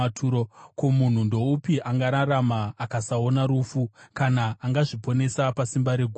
Ko, munhu ndoupi angararama akasaona rufu, kana angazviponesa pasimba reguva? Sera